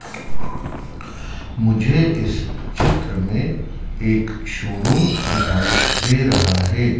मुझे इस चित्र में एक शोरूम दिखाई दे रहा है।